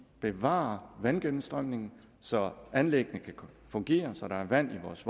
bevarer vandgennemstrømningen så anlæggene kan fungere så der er vand i vores